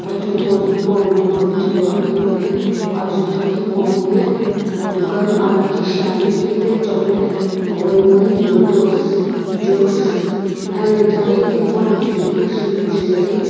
azutho hipou tae dukan a lakhi shiani hila wai wai juice chocolate ajeli ajeli ani.